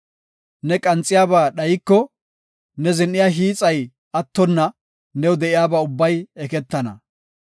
Ne qanxiyaba dhayiko, ne zin7iya hiixay attonna, new de7iyaba ubbay eketana.